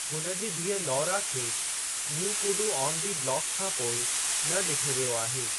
हुन जे धीअ लौरा खे न्यू कुडु आन दी ब्लाक खां पोइ न ॾिठो वियो आहे।